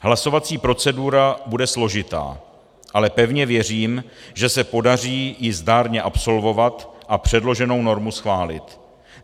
Hlasovací procedura bude složitá, ale pevně věřím, že se podaří ji zdárně absolvovat a předloženou normu schválit.